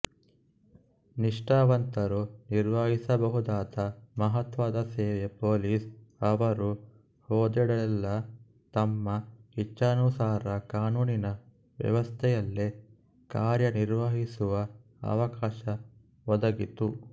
ನಿಷ್ಠಾವಂತರೂ ನಿರ್ವಹಿಸಬಹುದಾದ ಮಹತ್ವದ ಸೇವೆ ಪೋಲಿಸ್ ಅವರು ಹೋದೆಡೆಯಲ್ಲೆಲ್ಲಾ ತಮ್ಮ ಇಚ್ಛಾನುಸಾರ ಕಾನೂನಿನ ವ್ಯವಸ್ಥೆಯಲ್ಲೇ ಕಾರ್ಯ ನಿರ್ವಹಿಸುವ ಅವಕಾಶ ಒದಗಿತು